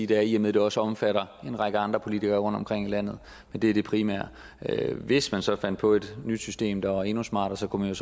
det er i og med det også omfatter en række andre politikere rundtomkring i landet men det er det primære hvis man så fandt på et nyt system der var endnu smartere kunne man